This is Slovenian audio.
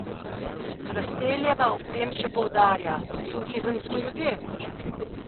Hrasteljeva ob tem še poudarja: 'Turizem smo ljudje.